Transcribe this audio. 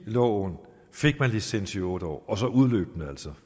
loven gav licens i otte år og så udløb den altså